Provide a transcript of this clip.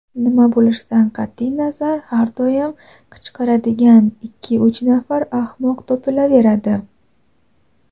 nima bo‘lishidan qat’iy nazar har doim qichqiradigan ikki-uch nafar ahmoq topilaveradi.